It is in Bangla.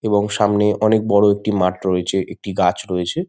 এবং সামনে অনেক বড় একটি মাঠ রয়েছে। একটি গাছ রয়েছে।